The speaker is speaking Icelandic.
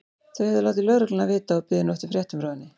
Þau höfðu látið lögregluna vita og biðu nú eftir fréttum frá henni.